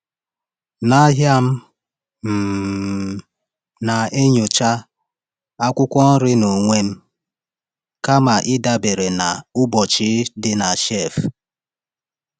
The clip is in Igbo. N’ahịa, m um na-enyocha akwụkwọ nri n’onwe m kama ịdabere na ụbọchị dị na shelf.